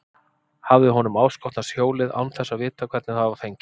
Hafði honum áskotnast hjólið án þess að vita hvernig það var fengið?